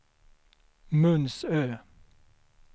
Munsö